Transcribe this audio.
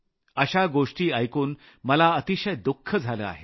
अशा गोष्टी ऐकून मला अतिशय दुःख झालं आहे